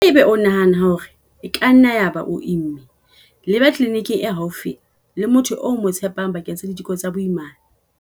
Haeba o nahana hore e ka nna ya ba o imme, leba tleliniking e haufi le motho eo o mo tshepang bakeng sa diteko tsa boimana.